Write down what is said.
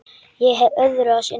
Ég hef öðru að sinna.